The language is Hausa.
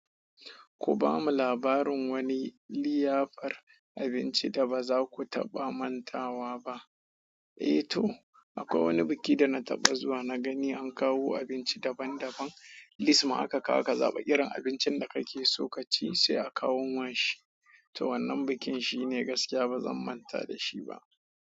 Ku bamu labarin wani liyafar abinci da baza ku taɓa mantawa ba. Eh to, akwai wani biki da na taɓa zuwa na gani an kawo abinci daban daban, lis maku ka zaɓi irin abincin da kake so ka ci sai a kawo ma shi, to wannan bukin shine gaskiya ba zan manta da shi ba.